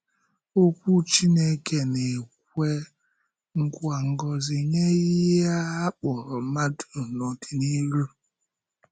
Okwu Chínkè na-ekwe nkwa ngọzi nye ihe a kpọrọ mmadụ n’ọdịnihu.